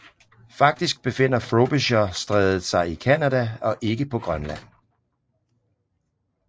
Faktisk befinder Frobisher Strædet sig i Canada og ikke på Grønland